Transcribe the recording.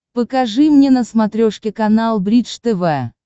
покажи мне на смотрешке канал бридж тв